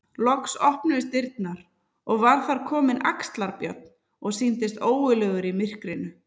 Loks opnuðust dyrnar og var þar kominn Axlar-Björn og sýndist ógurlegur í myrkrinu.